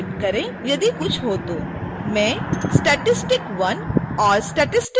मैं statistic 1 और statistic 2 को खाली छोड़ दूंगी